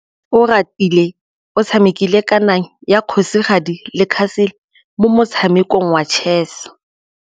Oratile o tshamekile kananyô ya kgosigadi le khasêlê mo motshamekong wa chess.